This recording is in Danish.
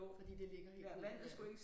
Fordi det ligger helt ned til vandet